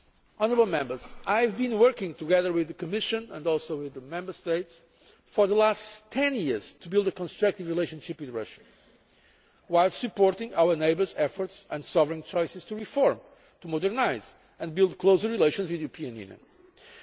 Honourable Members, I have been working together with the Commission and also with the Member States for the last ten years to build a constructive relationship with Russia, while supporting our neighbours' efforts and sovereign choices to reform, modernise and build closer relations with the European